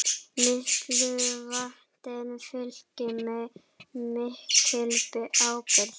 Miklu valdi fylgir mikil ábyrgð.